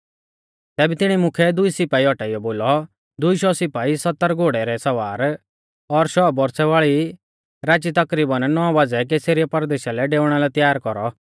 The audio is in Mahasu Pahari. तैबै तिणी मुख्यै दुई सिपाई औटाइयौ बोलौ दुई शौ सिपाई सत्तर घोड़ै रै सवार और शौ बौरछ़ै वाल़ै राची तकरीबन नौ बाज़ै कैसरिया परदेशा लै डेउणा लै तैयार कौरौ